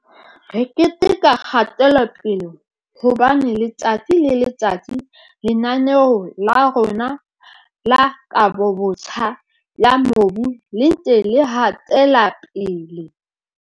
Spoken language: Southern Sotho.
"Re keteka kgatelopele, hobane letsatsi le letsatsi Lena-neo la rona la Kabobotjha ya Mobu le ntse le hatela pele."